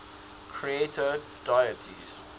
creator deities